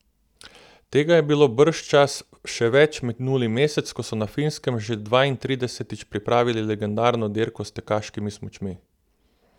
Tega je bilo bržčas še več minuli mesec, ko so na Finskem že dvaintridesetič pripravili legendarno dirko s tekaškimi smučmi.